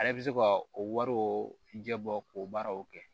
Ale bɛ se ka o wariw ɲɛbɔ k'o baaraw kɛ